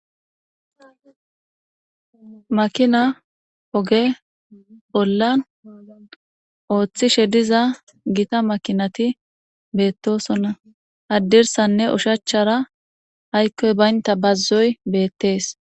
Makina ogee bollan oothishe diza Gita makinati betosona hadirsane oshachara aykoy baynta bazoy betes